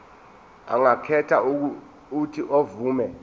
angakhetha uuthi avume